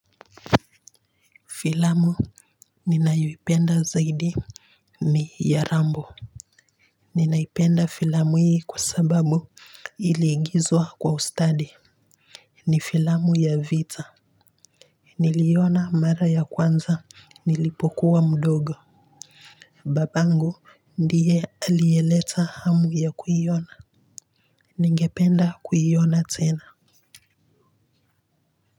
Filamu ninayo ipenda zaidi ni ya rambo ninaipenda filamu hii kwa sababu iliigizwa kwa ustadi ni filamu ya vita niliiona mara ya kwanza nilipokuwa mdogo babangu ndiye aliyeleta hamu ya kuiona ningependa kuiona tena.